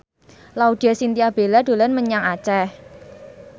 Laudya Chintya Bella dolan menyang Aceh